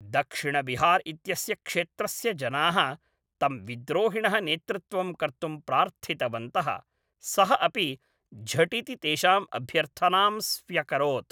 दक्षिणबिहार् इत्यस्य क्षेत्रस्य जनाः तं विद्रोहिणः नेतृत्वं कर्तुं प्रार्थितवन्तः, सः अपि झटिति तेषाम् अभ्यर्थनां स्व्यकरोत्।